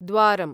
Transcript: द्वारम्